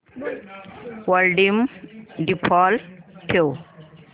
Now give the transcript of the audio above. volume default ठेव